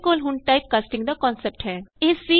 ਸਾਡੇ ਕੋਲ ਹੁਣ ਟਾਈਪਕਾਸਟਿੰਗ ਦਾ ਕਨਸੈਪਟ ਹੈ